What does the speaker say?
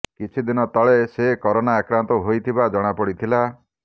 କିଛି ଦିନ ତଳେ ସେ କରୋନା ଆକ୍ରାନ୍ତ ହୋଇଥିବା ଜଣାପଡ଼ିଥିଲା